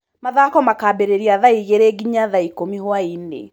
Mathako makaambĩrĩria thaa igĩrĩ nginya thaa ikũmi hwainĩ.